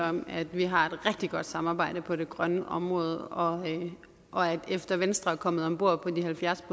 om at vi har et rigtig godt samarbejde på det grønne område og efter at venstre er kommet om bord på de halvfjerds